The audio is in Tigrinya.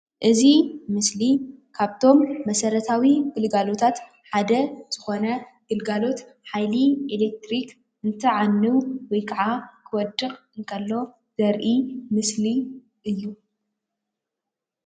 እዚ ምስሊ ካብቲ መሰረታዊ ግልጋሎታት ሓደ ዝኮነ ግልጋሎት ሓይል ኤሌትሪክ እንትዓኑ ወይ ካዓ እንትወድቅ እንተሎ ዘርኢ ምስሊ እዩ፡፡